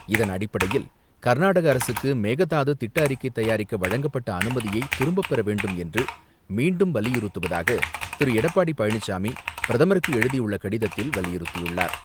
இதன் அடிப்படையில், கர்நாடக அரசுக்கு மேகதாது திட்ட அறிக்கை தயாரிக்க வழங்கப்பட்ட அனுமதியை திரும்பப்பெற வேண்டும் என்று மீண்டும் வலியுறுத்துவதாக திரு எடப்பாடி பழனிசாமி, பிரதமருக்கு எழுதியுள்ள கடிதத்தில் வலியுறுத்தியுள்ளார்.